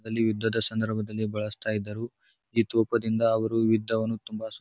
ಅಲ್ಲಿ ಯುದ್ಧದ ಸಂದರ್ಭದಲ್ಲಿ ಬಳಸ್ತಾ ಇದ್ದರು. ಈ ತೋಪದಿಂದ ಅವ್ರು ಯುದ್ಧವನ್ನು ತುಂಬಾ --